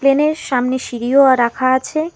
প্লেনের সামনে সিঁড়িও আ রাখা আছে।